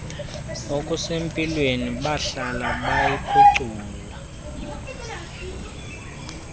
okusempilweni buhlala buyiphucula